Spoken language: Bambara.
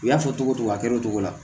U y'a fɔ togo a kɛra o cogo la